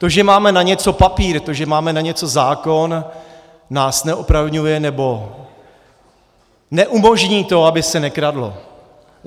To, že máme na něco papír, to, že máme na něco zákon, nás neopravňuje, nebo neumožní to, aby se nekradlo.